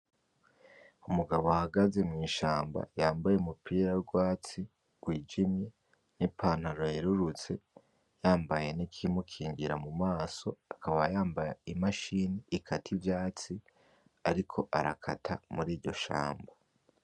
Umugabo ahagaze mu ishamba yambaye umupira w’urwatsi rwijimye n’ipantaro yerurutse yambaye n’ikimukingira mu maso ,akaba yambaye imashini ikata ivyatsi ariko arakata muri iryo shamba.